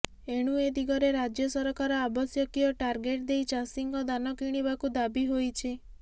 ଏଣୁ ଏ ଦିଗରେ ରାଜ୍ୟସରକାର ଆବଶ୍ୟକୀୟ ଟାର୍ଗେଟ୍ ଦେଇ ଚାଷୀଙ୍କ ଦାନ କିଣିବାକୁ ଦାବୀ ହୋଇଛି